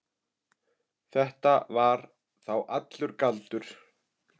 Þetta var þá allur galdur.